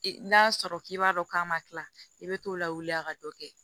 N'a sɔrɔ k'i b'a dɔn k'a ma kila i bɛ t'o lawuli a ka dɔ kɛ